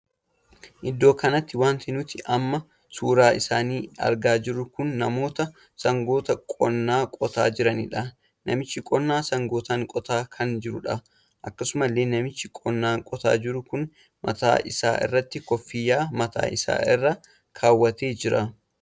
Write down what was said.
Iddoo kanatti wanti nuti amma suuraa isaanii argaa jirru kun namoota sangoota qonnaa qotaa kan jiraniidha. namichi qonnaa sangootaan qotaa kan jirudha. akkasumalle namichi qonnaa qotaa jiru kun mataa Isa irratti koffiyyaa mataa isaa irra kaawwatee jira.